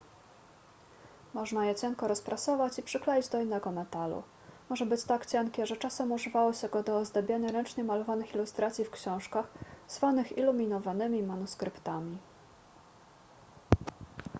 można je cienko rozprasować i przykleić do innego metalu może być tak cienkie że czasem używało się go do ozdabiania ręcznie malowanych ilustracji w książkach zwanych iluminowanymi manuskryptami